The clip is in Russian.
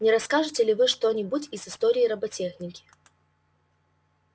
не расскажете ли вы что-нибудь из истории роботехники